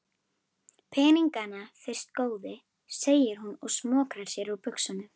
Peningana fyrst góði, segir hún og smokrar sér úr buxunum.